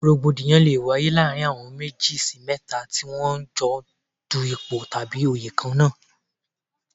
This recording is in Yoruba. Rògbòdìyàn lé wáyé láàárín àwọn méjì sí mẹ́ta tí wọ́n ń jọ dù ipò tàbí òyè kan náà.